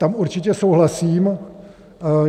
Tam určitě souhlasím.